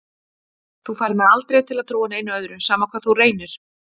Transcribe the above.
Þú færð mig aldrei til að trúa neinu öðru, sama hvað þú reynir.